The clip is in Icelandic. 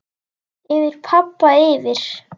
Yfir pabba, yfir